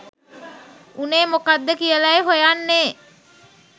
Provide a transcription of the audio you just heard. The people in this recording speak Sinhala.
උනේ මොකක්ද කියලයි හොයන්නේ”